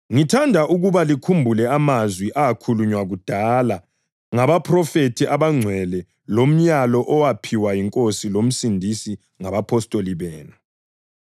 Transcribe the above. Ngithanda ukuba likhumbule amazwi akhulunywa kudala ngabaphrofethi abangcwele lomlayo owaphiwa yiNkosi loMsindisi ngabapostoli benu.